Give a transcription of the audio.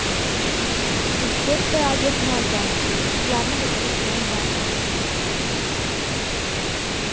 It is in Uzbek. Uch-to‘rtta obyektni olganmiz, shularni bitirish bilan bandmiz.